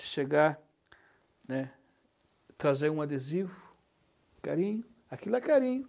De chegar, né, trazer um adesivo, carinho, aquilo é carinho.